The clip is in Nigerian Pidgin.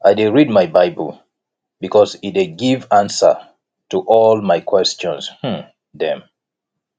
i dey read my bible because e dey give answer to all my question um dem